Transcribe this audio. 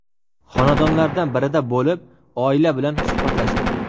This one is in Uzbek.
Xonadonlardan birida bo‘lib, oila bilan suhbatlashdi.